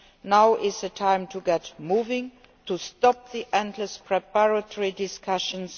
Now is the time to get moving and to stop the endless preparatory discussions.